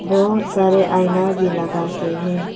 बहुत सारे आईना भी लगा के है।